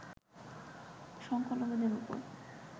সংখ্যালঘুদের উপর